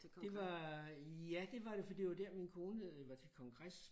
Det var ja det var det for det var der min kone var til kongres